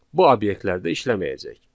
Bu obyektlərdə işləməyəcək.